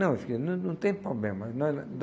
Não, eu fiquei, não não tem problema. ela